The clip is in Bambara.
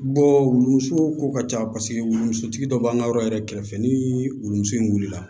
wuluso ko ka ca paseke womusotigi dɔ b'an ka yɔrɔ yɛrɛ kɛrɛfɛ ni wuluso in wulila